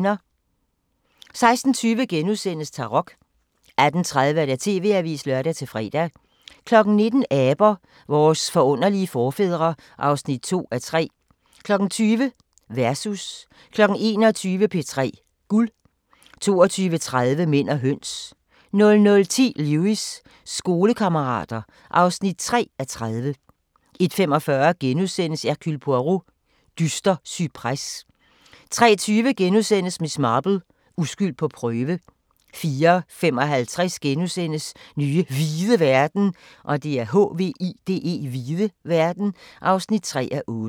16:20: Tarok * 18:30: TV-avisen (lør-fre) 19:00: Aber – vores forunderlige forfædre (2:3) 20:00: Versus 21:00: P3 Guld 22:30: Mænd og høns 00:10: Lewis: Skolekammerater (3:30) 01:45: Hercule Poirot: Dyster cypres * 03:20: Miss Marple: Uskyld på prøve * 04:55: Nye hvide verden (3:8)*